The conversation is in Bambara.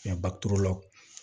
baturu law